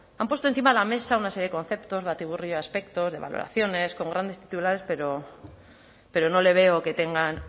han puesto encima de la mesa una serie de conceptos batiburrillo de aspectos de valoraciones con grandes titulares pero no le veo que tengan